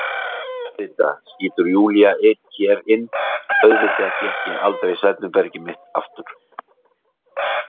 Auðvitað, skýtur Júlía hér inn, auðvitað fékk ég aldrei svefnherbergið mitt aftur.